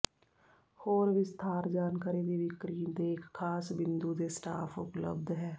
ਹੋਰ ਵਿਸਥਾਰ ਜਾਣਕਾਰੀ ਦੀ ਵਿਕਰੀ ਦੇ ਇੱਕ ਖਾਸ ਬਿੰਦੂ ਦੇ ਸਟਾਫ ਉਪਲਬਧ ਹੈ